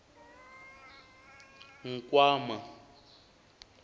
nkwama